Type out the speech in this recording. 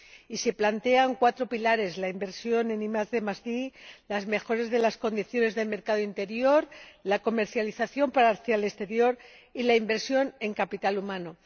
Y se plantean cuatro pilares la inversión en IDi, las mejoras de las condiciones de mercado interior, la comercialización hacia el exterior y la inversión en capital humano.